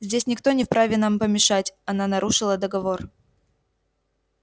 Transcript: здесь никто не вправе нам помешать она нарушила договор